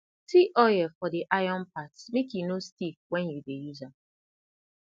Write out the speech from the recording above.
t oil for the iron parts make e no stiff when you dey use am